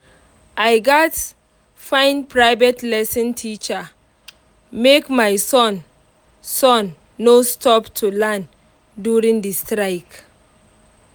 i gats find private lesson teacher make my son son no stop to learn during the strike